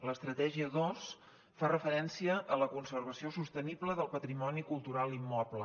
l’estratègia dos fa referència a la conservació sostenible del patrimoni cultural immoble